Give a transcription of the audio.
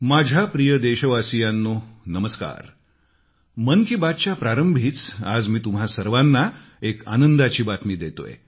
माझ्या प्रिय देशवासियांनो नमस्कार मन की बात च्या प्रारंभी आज तुम्हा सर्वांना एक आनंदाची बातमी देतोय